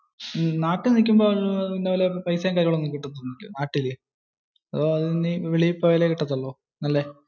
നാട്ടിൽ നികുമ്പോ പൈസയും കാര്യങ്ങളും ഒക്കെ കിട്ടാതില്ലേ. അതോ വെളിയിൽ പോയാലോ കിട്ടതുള്ളു?